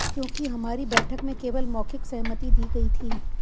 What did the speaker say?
क्योंकि हमारी बैठक में केवल मौखिक सहमति दी गई थी